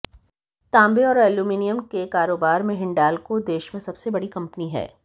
तांबे और एल्युमिनियम के कारोबार में हिंडाल्को देश में सबसे बड़ी कंपनी है